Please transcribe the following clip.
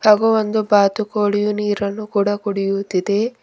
ತಗೋ ಒಂದು ಬಾತುಕೋಳಿಯು ನೀರನ್ನು ಕೂಡ ಕುಡಿಯುತಿದೆ.